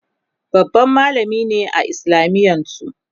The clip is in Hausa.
babban mallami ne a islamiyan su